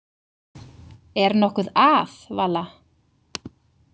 Er nokkuð að, Vala?